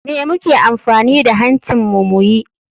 Me muke amfani da hancin mu muyi?